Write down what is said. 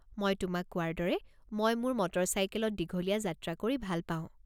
মই তোমাক কোৱাৰ দৰে, মই মোৰ মটৰচাইকেলত দীঘলীয়া যাত্ৰা কৰি ভাল পাওঁ।